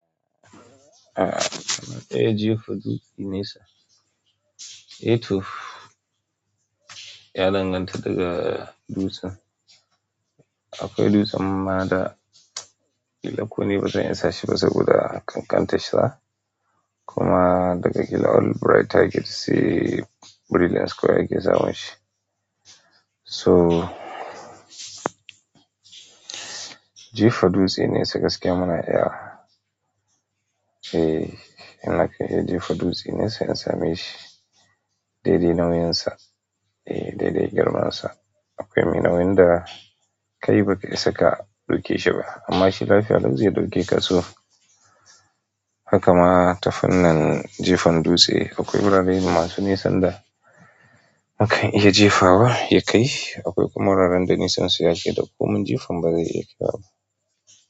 Eh, amma ɗaya jefa dutse nesa. H toh, ya danganta daga dutsen. Eh, amma ɗaya jefa dutse nesa. So jefa dutse nesa gaskiya muna iya. Eh yana kan jefa dutse ne se a sameshi, dai-dai girmansa kai mai nauyin da kai baka isa ka riƙe shi ba, amma shi lafiya lau ze ɗauke ka so. Haka na ta fannin jefan dutse akwai wurare masu nesan da akan iya jefawa ya kai. Akwai kuma wuraren da yakai ga komin nesan jifan baze kai ba.